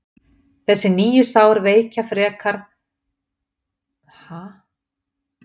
þessi nýju sár veikja frekar herða og hálsvöðva nautsins